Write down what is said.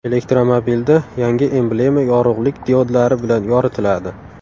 Elektromobilda yangi emblema yorug‘lik diodlari bilan yoritiladi.